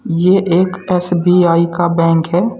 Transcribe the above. ये एक एस_बी_आई का बैंक है।